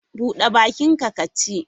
Bude bakinka ka ci!